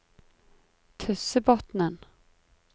Tyssebotnen